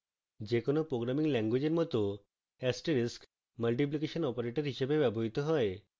যে কোনো programming ল্যাঙ্গুয়েজের মত asterix multiplication operator হিসাবে ব্যবহৃত হয়